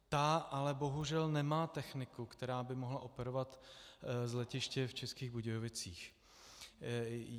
Ta ale bohužel nemá techniku, která by mohla operovat z letiště v Českých Budějovicích.